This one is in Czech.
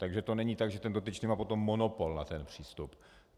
Takže to není tak, že ten dotyčný má potom monopol na ten přístup.